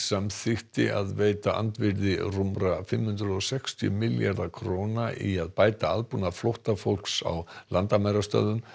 samþykkti að veita andvirði rúmra fimm hundruð og sextíu milljarða króna í að bæta aðbúnað flóttafólks á landamærastöðvum